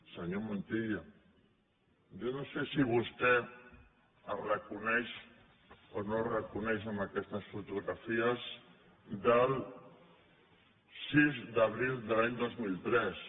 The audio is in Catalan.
senyor montilla jo no sé si vostè es reconeix o no es reconeix en aquestes fotografies del sis d’abril de l’any dos mil tres